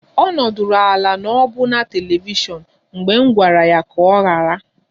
Ọ nọdụrụ ala n'ọbuna telivishiọn mgbe m gwara ya ka ọ ghara